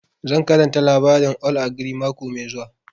Zan karanta labarin old ogre mako mai zuwa